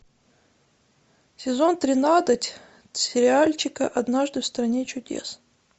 сезон тринадцать сериальчика однажды в стране чудес